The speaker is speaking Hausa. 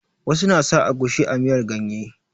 Wasu na sa agushi a miyar ganye.